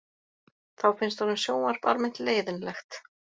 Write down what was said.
Þá finnst honum sjónvarp almennt leiðinlegt